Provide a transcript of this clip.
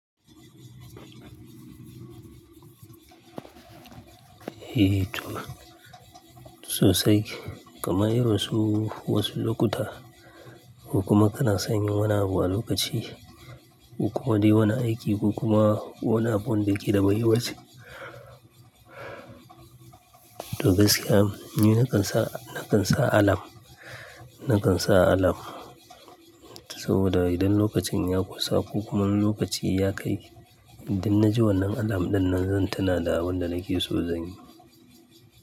Eh to sosai, kamar irinsu wasu lokuta ko kuma kana san yin wani abu a lokaci, ko kuma dai wani aiki ko kuma wani abun da yake da muhimmanci. To gaskiya ni na kan sa, na kan sa alam, na kan sa alam saboda idan lokacin ya kusa ko kuma lokacin ya kai, idan na ji wannan alam ɗin nan zan tuna da abin da nake so zan yi.